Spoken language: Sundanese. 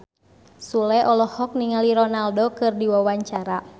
Sule olohok ningali Ronaldo keur diwawancara